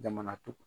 Jamana tugun